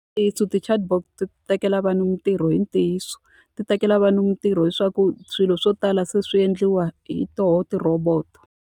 Ti chatbot ti tekela vanhu mintirho i ntiyiso. Ti tekela vanhu mintirho hileswaku swilo swo tala se swi endliwa hi tona ti-robot-o.